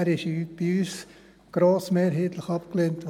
Er wurde bei uns grossmehrheitlich abgelehnt.